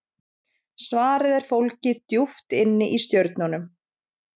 Svarið er fólgið djúpt inni í stjörnunum.